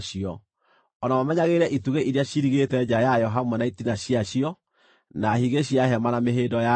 o na mamenyagĩrĩre itugĩ iria ciirigĩte nja yayo hamwe na itina ciacio, na higĩ cia hema na mĩhĩĩndo yayo.